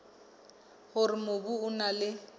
hore mobu o na le